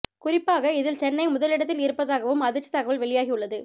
குறிப்பாக இதில் சென்னை முதல் இடத்தில் இருப்பதாகவும் அதிர்ச்சித் தகவல் வெளியாகியுள்ளது